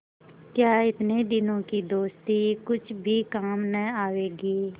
क्या इतने दिनों की दोस्ती कुछ भी काम न आवेगी